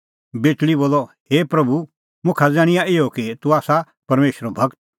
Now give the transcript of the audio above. बेटल़ी बोलअ हे प्रभू मुखा ज़ाण्हिंआं इहअ कि तूह आसा परमेशरो गूर